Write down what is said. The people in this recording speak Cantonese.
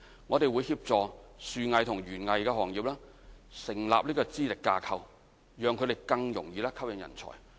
我們會協助樹藝和園藝行業成立資歷架構，讓他們更容易吸引人才。